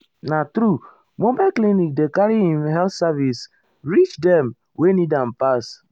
na true mobile clinic dey carry ehm health service reach dem wey need am pass.